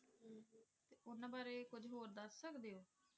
ਉਹਨਾਂ ਬਾਰੇ ਕੁੱਝ ਹੋਰ ਦੱਸ ਸਕਦੇ ਹੋ?